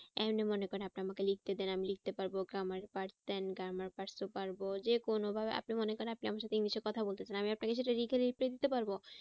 এমনি মনে করেন আপনি আমাকে লিখতে দেন আমি লিখতে পারবো grammar grammar ও পারবো। যে কোনো আপনি মনে করেন আপনি আমার সাথে english এ কথা বলতে চান আমি আপনাকে reply দিতে পারবো